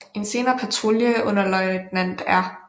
En senere patrulje under løjtnant R